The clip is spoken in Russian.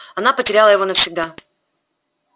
она потеряла его навсегда